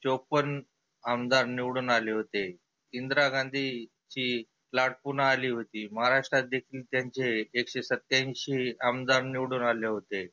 चोप्पन्न आमदार निवडुन आले होते. इंदिरा गांधी ची लाट पुन्हा आली होती. महाराष्ट्रात एकटे त्यांचे एकशे सत्त्यांऐंशी आमदार निवडुन आले होते.